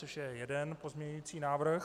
Což je jeden pozměňovací návrh.